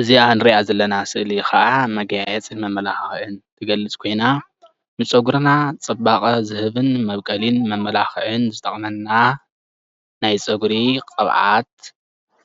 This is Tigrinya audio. እዚኣ ንሪኣ ዘለና ስእሊ ከዓ መጋየፅን መመላኽዕን ትገልፅ ኮይና ንፀጉርና ፅባቀ ዝህብን መብቆልን መመላኽዕን ዝጠቅመና ናይ ፅጉሪ ቅብኣት